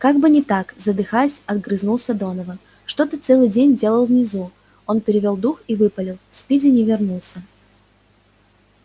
как бы не так задыхаясь огрызнулся донован что ты целый день делал внизу он перевёл дух и выпалил спиди не вернулся